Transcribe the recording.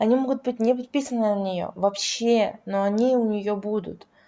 они могут быть не подписаны на неё вообще но они у неё будут